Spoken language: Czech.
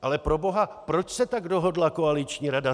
Ale proboha, proč se tak dohodla koaliční rada?